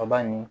Kaba nin